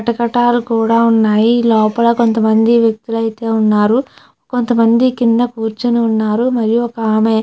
కటకటాలు కూడా ఉన్నాయి లోపల కొంతమంది వ్యక్తులు అయితే ఉన్నారు కొంతమంది కింద కూర్చుని ఉన్నారు ఒక ఆమె.